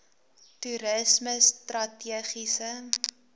toerismestrategiese